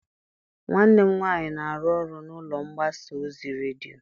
Nwanne m nwaanyị na-arụ ọrụ n'ụlọ mgbasa ozi redio.